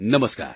નમસ્કાર